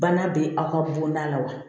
Bana bɛ aw ka bonda la wa